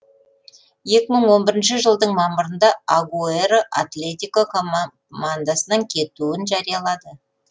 екі мың он бірінші жылдың мамырында агуэро атлетико командасынан кетуін жариялады